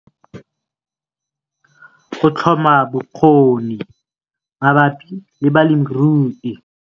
Go tlhoma bokgoni mabapi le balemirui